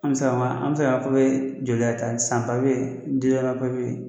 An be se k'a fɔ an be se k'an ka papiye jɔjan ta san papiye deduwayeman papiye